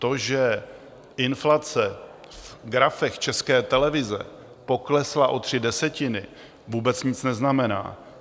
To, že inflace v grafech České televize poklesla o tři desetiny, vůbec nic neznamená.